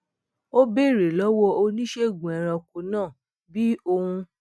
ó béèrè lówó oníṣègùn ẹranko náà bi oun